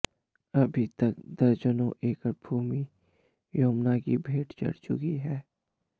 अभी तक दर्जनों एकड़ भूमि यमुना की भेंट चढ़ चुकी है